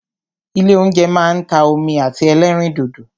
Ilé óúnjẹ máa ń ta omi àti ẹlẹ́rìndòdò.